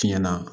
Tiɲɛna